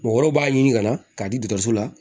Mɔgɔ wɛrɛw b'a ɲini ka na k'a di dɔkɔtɔrɔso la